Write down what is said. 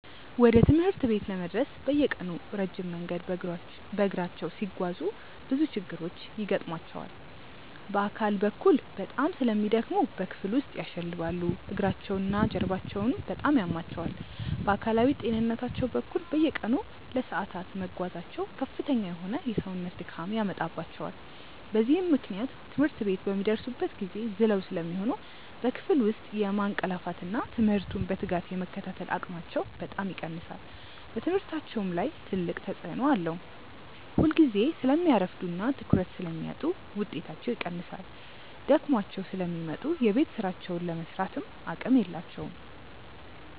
ወደ ትምህርት ቤት ለመድረስ በየቀኑ ረጅም መንገድ በእግራቸው ሲጓዙ ብዙ ችግሮች ይገጥሟቸዋል። በአካል በኩል በጣም ስለሚደክሙ በክፍል ውስጥ ያሸልባሉ፤ እግራቸውና ጀርባቸውም በጣም ያማቸዋል። በአካላዊ ጤንነታቸው በኩል፣ በየቀኑ ለሰዓታት መጓዛቸው ከፍተኛ የሆነ የሰውነት ድካም ያመጣባቸዋል። በዚህም ምክንያት ትምህርት ቤት በሚደርሱበት ጊዜ ዝለው ስለሚሆኑ በክፍል ውስጥ የማንቀላፋትና ትምህርቱን በትጋት የመከታተል አቅማቸው በጣም ይቀንሳል። በትምህርታቸውም ላይ ትልቅ ተጽዕኖ አለው፤ ሁልጊዜ ስለሚያረፍዱና ትኩረት ስለሚያጡ ውጤታቸው ይቀንሳል። ደክሟቸው ስለሚመጡ የቤት ሥራቸውን ለመሥራትም አቅም የላቸውም።